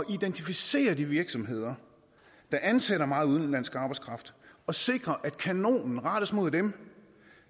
identificere de virksomheder der ansætter meget udenlandsk arbejdskraft og sikre at kanonen rettes mod dem